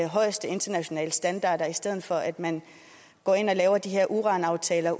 højeste internationale standarder i stedet for at man går ind og laver de her uranaftaler